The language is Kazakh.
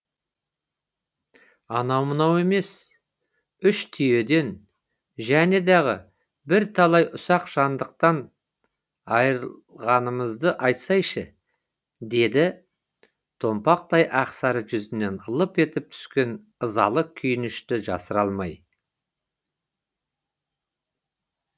анау мынау емес үш түйеден және дағы бірталай ұсақ жандықтан айырылғанымызды айтсайшы деді томпақтау ақ сары жүзінен лып етіп түскен ызалы күйінішті жасыра алмай